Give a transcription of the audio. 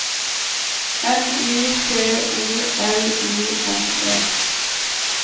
N I C O L I N E